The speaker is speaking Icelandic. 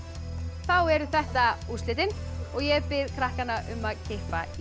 þá eru þetta úrslitin og ég bið krakkana um að kippa í